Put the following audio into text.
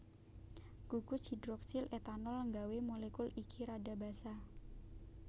Gugus hidroksil etanol nggawé molekul iki rada basa